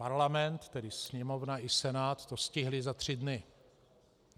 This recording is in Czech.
Parlament, tedy Sněmovna i Senát, to stihl za tři dny.